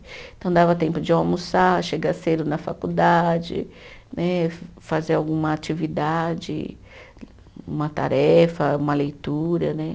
Então, dava tempo de almoçar, chegar cedo na faculdade né, fazer alguma atividade, uma tarefa, uma leitura, né?